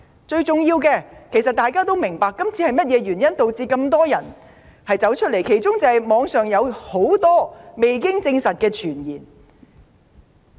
最重要的是，眾所周知，眾多市民上街示威，箇中原因是網上有很多未經證實的傳言。